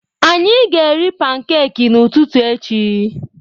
Anyị ga-eri pankeki n'ụtụtụ echi.